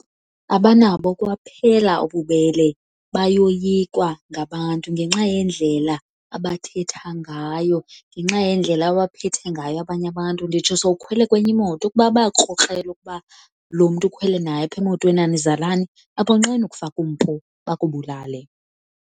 Abanabo kwaphela ububele, bayoyikwa ngabantu ngenxa yendlela abathetha ngayo, ngenxa yendlela abaphethe ngayo abanye abantu. Nditsho sowukhwele kwenye imoto ukuba bayakrokrela ukuba lo mntu ukhwele naye apha emotweni anizalani abonqeni ukufaka umpu bakubulale.